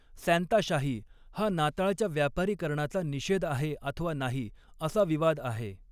सॅंताशाही हा नाताळच्या व्यापारीकरणाचा निषेध आहे अथवा नाही, असा विवाद आहे.